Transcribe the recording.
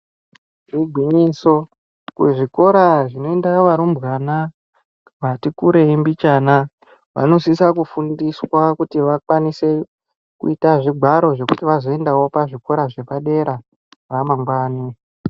Igwinyiso kuzvikora zvinoendwa varumbwana vati kurei mbichana vanosisa kufundiswa kuti vakwanise kuita zvigwaro zvekuti vazoendawo pazvikora zvepadera ramangwani.